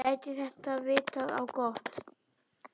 Gæti það vitað á gott?